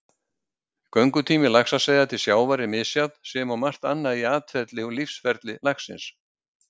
Göngutími laxaseiða til sjávar er misjafn sem og margt annað í atferli og lífsferli laxins.